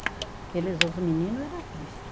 os meninos era triste.